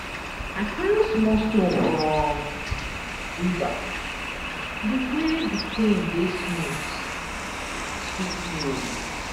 I carry small stone from river di way di tin dey smooth sweet me o.